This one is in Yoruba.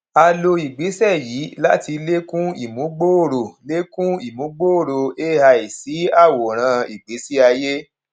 a lò igbésẹ yìí láti lékún ìmúgbòòrò lékún ìmúgbòòrò ai sí àwòrán ìgbésí ayé